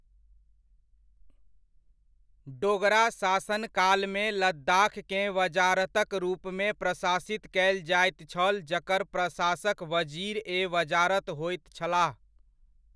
डोगरा शासन कालमे लद्दाखकेँ वजारतक रूपमे प्रशासित कयल जाइत छल जकर प्रशासक वज़ीर ए वज़ारत होइत छलाह।